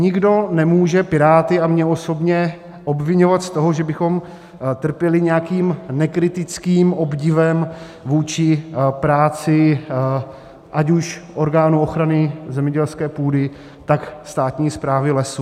Nikdo nemůže Piráty a mě osobně obviňovat z toho, že bychom trpěli nějakým nekritickým obdivem vůči práci ať už orgánů ochrany zemědělské půdy, tak státní správy lesů.